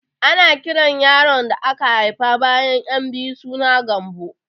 Ana kiran yaron aka haifa bayan ƴan biyu suna Gambo